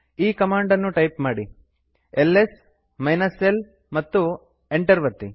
ಈ ಕಮಾಂಡ್ ಅನ್ನು ಟೈಪ್ ಮಾಡಿ ಎಲ್ಎಸ್ l ಮತ್ತು ಎಂಟರ್ ಒತ್ತಿ